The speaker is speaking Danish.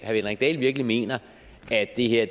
henrik dahl virkelig mener at det her